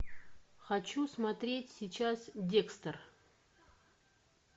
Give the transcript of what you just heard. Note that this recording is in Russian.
хочу смотреть сейчас декстер